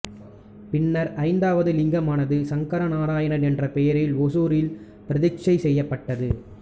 பின்னர் ஐந்தாவது லிங்கமானது சங்கரநாராயணர் என்ற பெயரில் ஒசூரில் பிரதிட்டைச் செய்யப்பட்டது